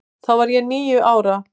Þá var ég níu ára.